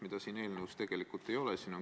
Seda siin eelnõus tegelikult ei ole.